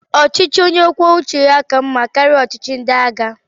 Ọchịchị onye kwuo uche ya ka mmá karịa ọchịchị ndị agha